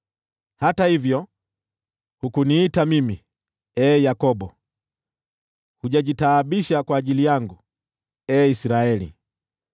“Hata hivyo hukuniita mimi, ee Yakobo, hujajitaabisha kwa ajili yangu, ee Israeli.